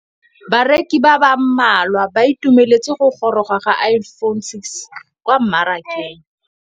Bareki ba ba malwa ba ituemeletse go gôrôga ga Iphone6 kwa mmarakeng.